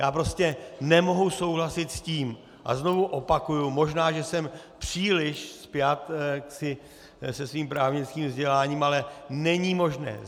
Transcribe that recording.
Já prostě nemohu souhlasit s tím, a znovu opakuji, možná že jsem příliš spjat se svým právnickým vzděláním, ale není možné.